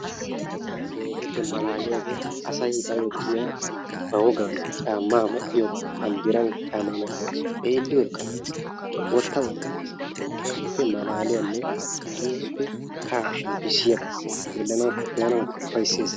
Asaykka tana keehippe malaliyagge asayi baayo de'iyaa ba woggan caama medhdhogga banddiran caama medhdhoge xeeliyodekka lo"es wotta wotta gees keehippe malaliyanne keeppe kahaa shsmppisiyabba xelanawukka be'anawkka ufaysses.